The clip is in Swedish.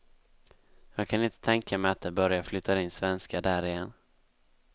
Jag kan inte tänka mig att det börjar flytta in svenskar där igen.